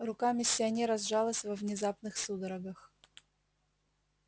рука миссионера сжалась во внезапных судорогах